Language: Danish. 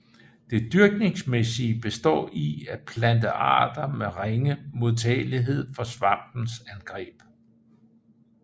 Det dyrkningsmæssige består i at plante arter med ringe modtagelighed for svampens angreb